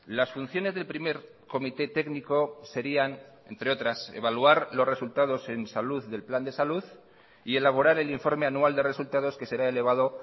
las funciones del primer comité técnico serían entre otras evaluar los resultados en salud del plan de salud y elaborar el informe anual de resultados que será elevado